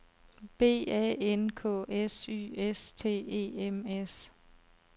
B A N K S Y S T E M S